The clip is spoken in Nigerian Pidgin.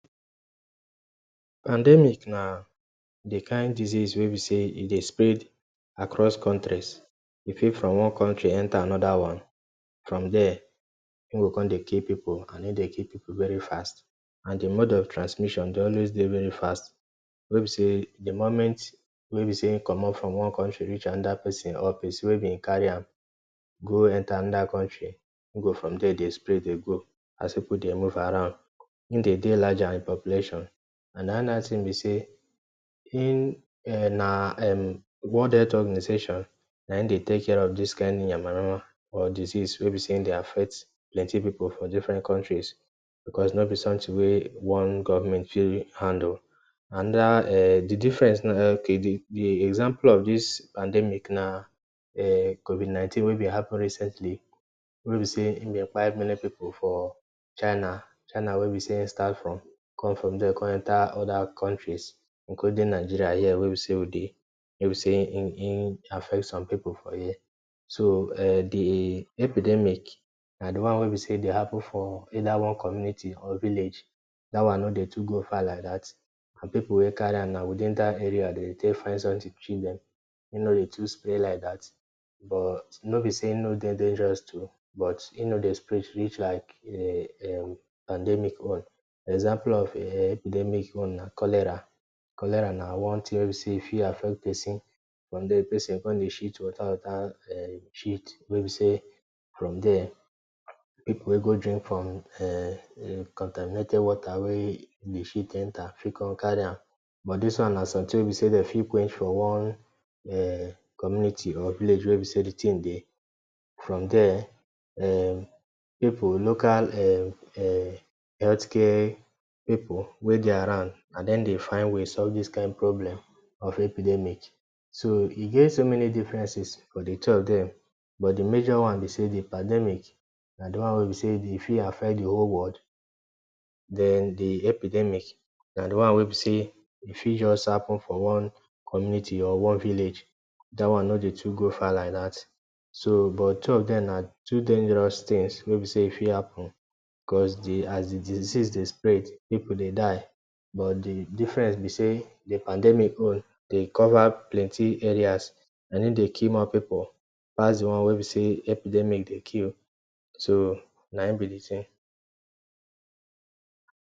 Pandemic na d kind disease wey b say e Dey spread across countries e fey from one country enter anoda one from there, in go con dey kill people and in dey kill people very fast and the mode of transmission Dey always Dey very fast wey be say d moment wey be say in commot from one country reach anoda place or person wey b carry am go enter anoda country e go from there dey spread dey go as people dey move around and in dey deh larger In population, and anoda thing be say na hin um na um World Health Organization na hin dey take care of dis kind Yama yama or disease wey b say e dey affect plenty people for different countries because no b something wey one government fit handle, another um the difference d example of dis pandemic na um Covid-19 wey dey happen recently wey b say in dey kpai many people for china china wey be say in start from there con enter oda countries including Nigeria here wey be say wey dey wey be say hin hin affect some people for here. So um the epidemic na d one wey be say e Dey happen for either one community or village dat one no Dey too go far like that, for people wey carry an na within that area dem Dey take find something treat dem, e no Dey too spread like that but no b say e no Dey dangerous too, but e no Dey spread reach like um pandemic own, example of um epidemic own na cholera, cholera na one tin wey b say e fit affect person, from there d person con Dey shit water water um shit, wey b say from there people wey go drink from um contaminated water wey d shit enter fit come carry am, but dis one na something wey dem for quench for one um, community or village wey be say d tin dey, from there um people local um healthcare people wey dey around na dem Dey find way solve dis kind problem of epidemic, so e get so many differences for d two of dem but d major one be say d pandemic na the one wey be say e dey fit affect d whole world den d epidemic na d one wey be say e fit just happen for one community or one village, dat one no Dey too go far like dat so but two of dem na two dangerous things wey be say e fit happen cause as d disease dey spread people dey die, but d difference b say d pandemic own dey cover plenty areas and him dey kill more people pass d one wey be say epidemic dey kill, so na him b d thing